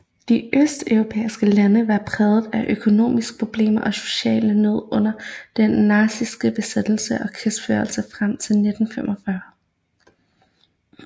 De østeuropæiske lande var prægede af økonomiske problemer og social nød under den nazistiske besættelse og krigsførelse frem til 1945